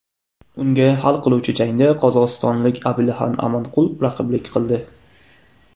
Unga hal qiluvchi jangda qozog‘istonlik Abilxan Amanqul raqiblik qildi.